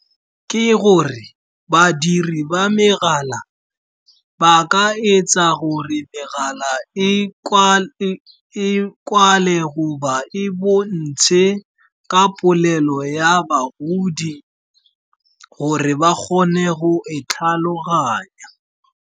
Ke gore badiri ba megala ba ka etsa gore megala e kwale goba e bontshe ka polelo ya bagodi gore ba kgone go e tlhaloganya.